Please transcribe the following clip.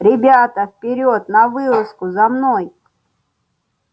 ребята вперёд на вылазку за мной